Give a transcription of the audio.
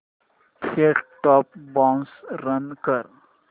set top box run कर